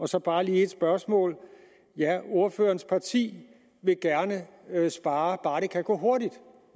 så bare lige et spørgsmål mere ja ordførerens parti vil gerne spare bare det kan gå hurtigt